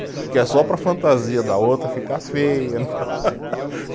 Porque é só para a fantasia da outra ficar feia.